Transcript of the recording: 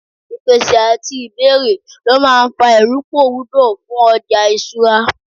ìpèsè ati ibeere lo ma n fa iruporudo fún ọja isura